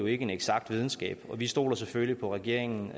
ikke en eksakt videnskab og vi stoler selvfølgelig på regeringen